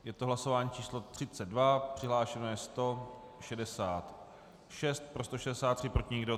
Je to hlasování číslo 32, přihlášeno je 166, pro 163, proti nikdo.